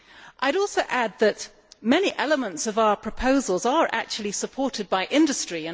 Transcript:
I would also add that many elements of our proposals are actually supported by industry.